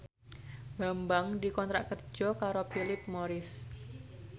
Bambang dikontrak kerja karo Philip Morris